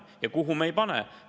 Ja kuhu me ei pane?